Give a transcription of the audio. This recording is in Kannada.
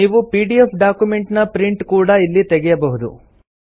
ನೀವು ಪಿಡಿಎಫ್ ಡಾಕ್ಯುಮೆಂಟ್ ನ ಪ್ರಿಂಟ್ ಕೂಡಾ ಇಲ್ಲಿ ತೆಗೆಯಬಹುದು